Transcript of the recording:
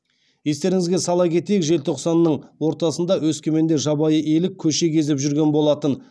естеріңізге сала кетейік желтоқсанның ортасында өскеменде жабайы елік көше кезіп жүрген болатын